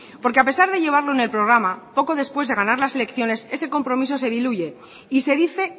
porque a pesar de llevarlo en el programa poco después de ganar las elecciones ese compromiso se diluye y se dice